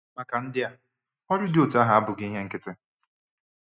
Maka ndị a, ọrụ dị otú ahụ abụghị ihe nkịtị.